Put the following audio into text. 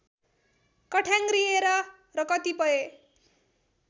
कठ्याङ्ग्रिएर र कतिपय